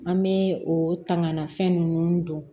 An bɛ o tanganfɛn ninnu don